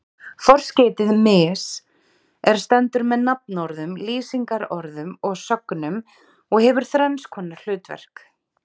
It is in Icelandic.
Forskeytið mis- er stendur með nafnorðum, lýsingarorðum og sögnum og hefur þrenns konar hlutverk.